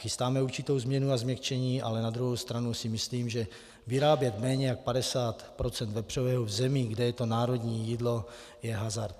Chystáme určitou změnu a změkčení, ale na druhou stranu si myslím, že vyrábět méně jak 50 % vepřového v zemi, kde je to národní jídlo, je hazard.